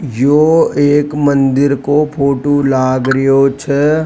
यो एक मंदिर का फोटो लाग रो छ।